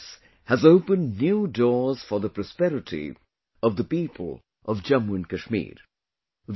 This success has opened new doors for the prosperity of the people of Jammu and Kashmir